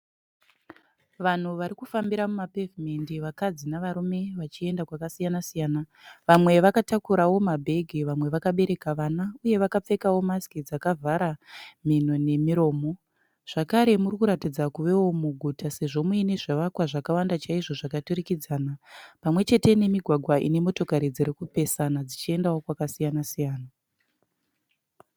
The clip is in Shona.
Vanhu vari kufambira mumapevhumendi vakadzi nevarume vachienda kwakasiyana siyana. Vamwe vakatakurawo mabhegi vamwe vakabereka vana uyewo vakapfekawo masiki dzakavhara mhino nemiromo. Zvekare muri kuratidza kuvewo muguta sezvo muine zvivakwa zvakawanda chaizvo zvakaturikidzana pamwe chete nemigwagwa ine motikari dziri kupesana dzichiendawo kwakasiyana siyana.